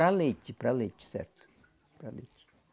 Para leite, para leite, certo. Para leite